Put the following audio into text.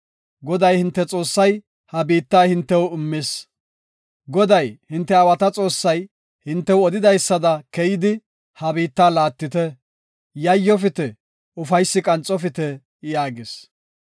Goday hinte Xoossay ha biitta hintew immis. Goday hinte aawata Xoossay hintew odidaysada keyidi, ha biitta laattite; yayofite; ufaysi qanxofite” yaagas.